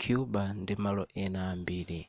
cuba ndi malo ena ambiri